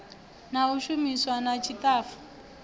na u shumisana na ṱshitafu